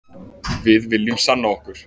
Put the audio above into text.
Við viljum sanna okkur